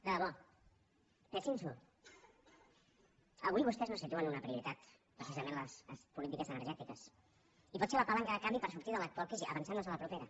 de debò pensin s’ho avui vostès no situen una prioritat precisament en les polítiques energètiques i pot ser la palanca de canvi per sortir de l’actual crisi avançant nos a la propera